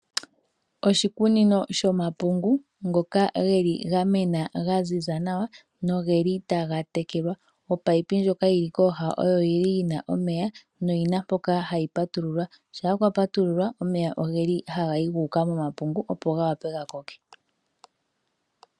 Oshikunino shomapungu ngoka geli ga mena, ga ziza nawa nogeli taga tekelewa. Omunino ngoka guli kooha ogo guli guna omeya noguna mpoka hagu patululwa. Shampa kwa patululwa omeya ogeli haga yi guuka momapungu opo gavule ga koke.